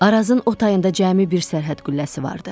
Arazın o tayında cəmi bir sərhəd qülləsi vardı.